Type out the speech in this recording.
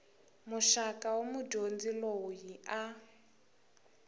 muxaka wa mudyondzi loyi a